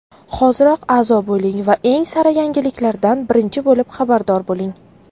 Hoziroq a’zo bo‘ling va eng sara yangiliklardan birinchi bo‘lib xabardor bo‘ling.